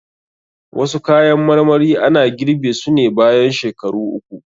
Wasu kayan marmari ana girɓe su ne bayan shekaru uku.